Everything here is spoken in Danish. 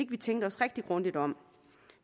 tænker os rigtig grundigt om